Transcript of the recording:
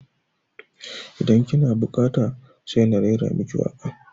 Idan ki na buƙata sai na raira maki waƙa